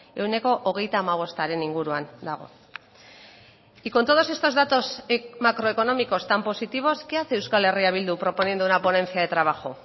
ehuneko hogeita hamabostaren inguruan dago y con todos estos datos macroeconómicos tan positivos qué hace euskal herria bildu proponiendo una ponencia de trabajo